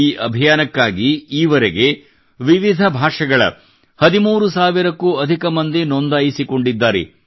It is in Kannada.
ಈ ಅಭಿಯಾನಕ್ಕಾಗಿ ಈವರೆಗೆ ವಿವಿಧ ಭಾಷೆಗಳ 13 ಸಾವಿರಕ್ಕೂ ಅಧಿಕ ಮಂದಿ ನೋಂದಾಯಿಸಿಕೊಂಡಿದ್ದಾರೆ